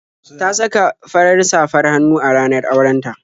Ta saka fara safr hannu a ranar auren ta.